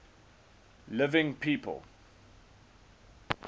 living people